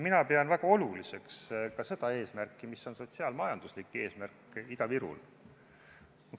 Mina pean väga oluliseks ka sotsiaal-majanduslikku eesmärki Ida-Virumaal.